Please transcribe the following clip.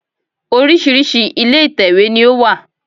Oríṣìíríṣìí ilé ìtèwé ní ó wà